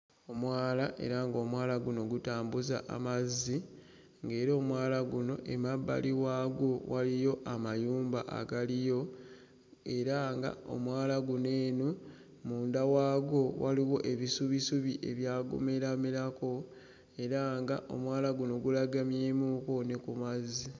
Omwala era ng'omwala guno gutambuza amazzi ng'era omwala guno emabbali waagwo waliyo amayumba agaliyo era nga omwala guno eno munda waagwo waliwo ebisubisubi ebyagumeraamerako era nga omwala guno gulagamyemukko ne ku mazzi.